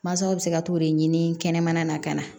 Mansaw bɛ se ka t'o de ɲini kɛnɛmana na ka na